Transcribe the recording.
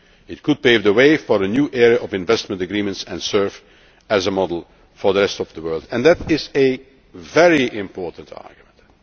to the ISDS system. It could pave the way for a new era of investment agreements and serve as a model for the rest of the world, and that is a